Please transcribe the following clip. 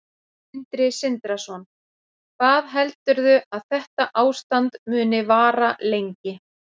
Sindri Sindrason: Hvað heldurðu að þetta ástand muni vara lengi?